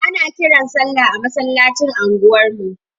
Ana kiran sallah a masallacin anguwar mu.